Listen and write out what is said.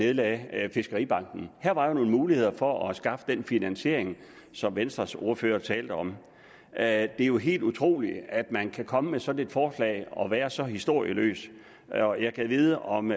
nedlagde fiskeribanken her var jo nogle muligheder for at skaffe den finansiering som venstres ordfører talte om det er jo helt utroligt at man kan komme med sådan et forslag og være så historieløs og jeg gad vide om